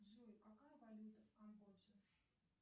джой какая валюта в камбодже